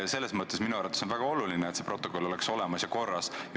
Selles mõttes on minu meelest väga oluline, et see protokoll oleks olemas ja korras.